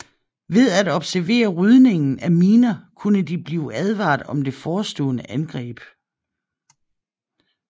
Ved at observere rydningen af miner kunne de blive advaret om det forestående angreb